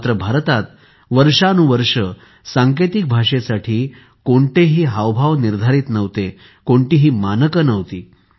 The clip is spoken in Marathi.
मात्र भारतात वर्षानुवर्षे सांकेतिक भाषेसाठी कोणतेही हावभाव निर्धारित नव्हते कोणतीही मानके नव्हती